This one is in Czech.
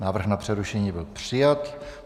Návrh na přerušení byl přijat.